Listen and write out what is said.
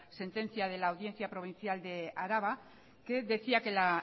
sentencia de la audiencia provincial de araba que decía que la